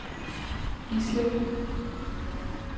Gislev